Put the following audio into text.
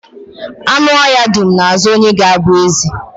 Anụ ọhịa dum na-azo onye ga-abụ eze